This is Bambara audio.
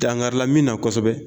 Dangarila min na kosɛbɛ.